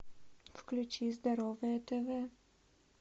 включи здоровое тв